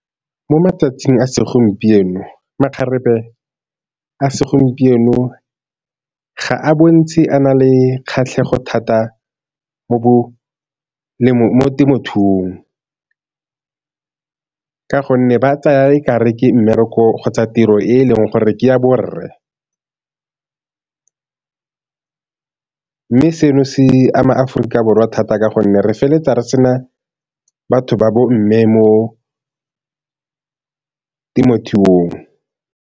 Mo matsatsing a segompieno makgarebe a segompieno ga a bontshe a na le kgatlhego thata mo temothuong ka gonne ba tsaya e ka re ke mmereko kgotsa tiro e leng gore ke ya borre, mme seno se ama Aforika Borwa thata ka gonne re feleletsa re se na batho ba bo mme mo temothuong.